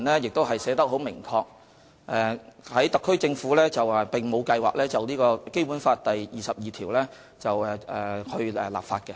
就特區政府來說，特區政府並沒有計劃就《基本法》第二十二條立法。